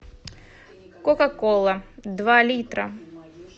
кока кола два литра